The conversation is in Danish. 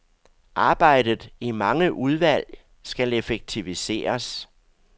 Arbejdet i mange udvalg skal effektiviseres.